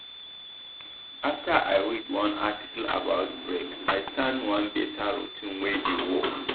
after i read one article about break i start one better routine wey dey work.